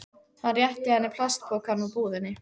Hann réttir henni plastpokann úr búðinni.